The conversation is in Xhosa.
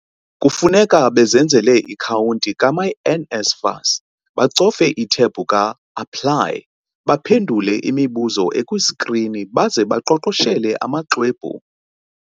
Kufuneka bezenzele i-akhawunti ka-myNSFAS, bacofe ithebhu ka-APPLY, baphendula imibuzo ekwiskrini baze baqoqoshele amaxwebhu.